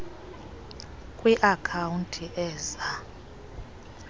kwi account eza